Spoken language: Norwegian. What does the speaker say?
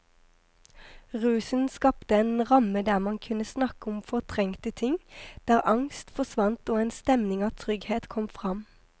Rusen skapte en ramme der man kunne snakke om fortrengte ting, der angst forsvant og en stemning av trygghet kom fram.